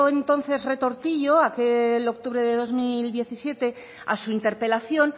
entonces retortillo aquel octubre de dos mil diecisiete a su interpelación